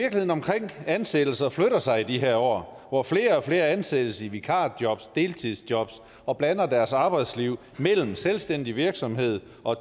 omkring ansættelser flytter sig i de her år hvor flere og flere ansættes i vikarjob deltidsjob og blander deres arbejdsliv mellem selvstændig virksomhed og